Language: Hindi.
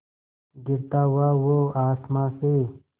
गिरता हुआ वो आसमां से